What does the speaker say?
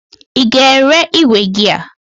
Ị ga-ere igwe gị a!